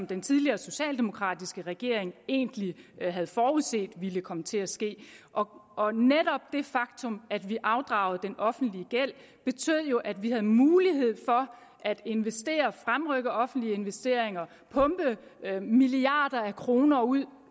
den tidligere socialdemokratiske regering egentlig havde forudset ville komme til at ske og netop det faktum at vi afdragede den offentlige gæld betød jo at vi havde mulighed for at investere for at fremrykke offentlige investeringer og pumpe milliarder af kroner ud